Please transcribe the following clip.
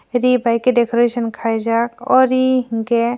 re bahaike decoration kaijak oe re hingkhe.